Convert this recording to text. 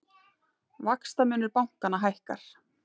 Vaxtamunur bankanna hækkar